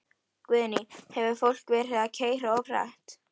Guðný: Hefur fólk verið að keyra of hratt?